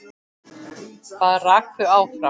Hvað rak þau áfram?